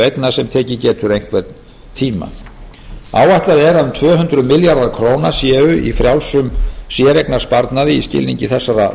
eigna sem tekið getur einhvern tíma áætlað er að um tvö hundruð milljarðar króna séu í frjálsum séreignarsparnaði í skilningi þessara